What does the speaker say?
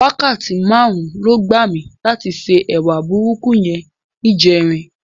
Wákàtí márùn-ún ló gbà mí láti se ẹwà burúkú yẹn níjẹrin.